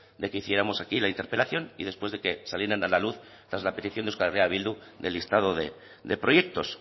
de que hiciéramos aquí la interpelación y después de que salieran a la luz tras la petición de euskal herria bildu del listado de proyectos